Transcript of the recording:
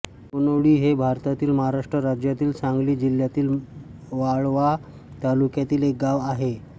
कोनोळी हे भारतातील महाराष्ट्र राज्यातील सांगली जिल्ह्यातील वाळवा तालुक्यातील एक गाव आहे